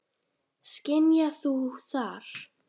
Skynjar þú það?